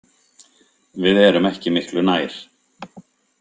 Við erum ekki miklu nær.